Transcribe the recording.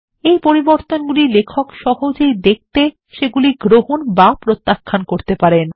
এই পরিবর্তনগুলি লেখক সহজেই দেখতে সেগুলি গ্রহণ বা প্রত্যাখ্যান করতে পারেন